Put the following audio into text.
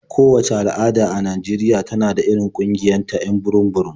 Kowacce al'ada a Najeriya tana da irin ƙungiyoyinta 'yan burum-burum.